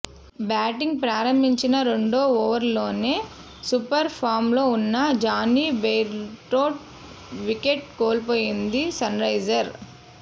batting ప్రారంభించిన రెండో ఓవర్లోనే సూపర్ ఫామ్లో ఉన్న జానీ బెయిర్స్టో వికెట్ కోల్పోయింది సన్రైజర్స్